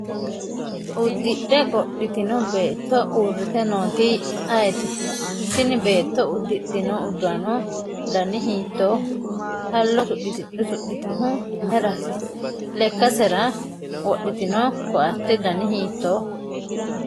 uddidhe qodhitino beetto uurrite nooti ayeeti? tini beetto uddidhino uddano dani hiittooho? hallo usudhitinohu mayiiraati? lekkasera wodhitino koatte dani hiittooho?